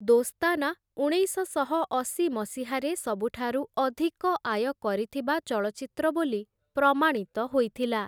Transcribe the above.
ଦୋସ୍ତାନା' ଉଣେଇଶଶହ ଅଶୀ ମସିହାରେ ସବୁଠାରୁ ଅଧିକ ଆୟ କରିଥିବା ଚଳଚ୍ଚିତ୍ର ବୋଲି ପ୍ରମାଣିତ ହୋଇଥିଲା ।